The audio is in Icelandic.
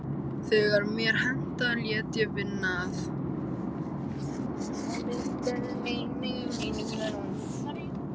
Þegar mér hentaði léti ég vita að